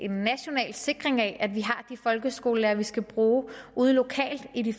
sikre at vi har de folkeskolelærere vi skal bruge lokalt i de